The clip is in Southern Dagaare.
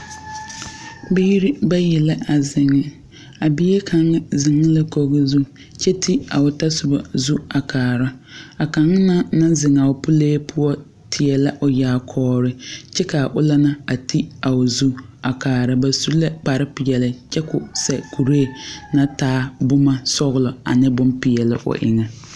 Biire bayi la a zeŋ. A bie kanga zeŋ la koge zu kyɛ te a o tɔsoba zu a kaara. A kang na naŋ zeŋ a o pulee poʊ teɛ la a o yaakɔɔre. Kyɛ ka ul la na te a o zu a kaara. Ba su la kpare piɛle kyɛ k'o sɛ kureɛ na taa boma sɔglɔ ane bon piɛle o eŋe